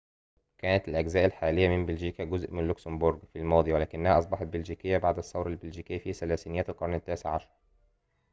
كانت الأجزاء الحالية من بلجيكا جزءاً من لوكسمبورغ في الماضي ولكنها أصبحت بلجيكية بعد الثورة البلجيكية في ثلاثينيات القرن التاسع عشر